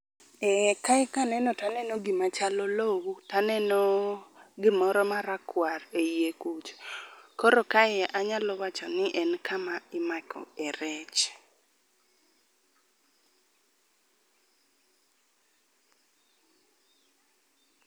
Ee kaye kaneno to aneno gima chal olou taneno gimoro marakwar e iye kucha koro kae anyalo wacho ni en kama imake rech